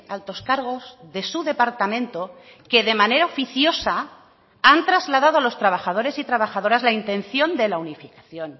altos cargos de su departamento que de manera oficiosa han trasladado a los trabajadores y trabajadoras la intención de la unificación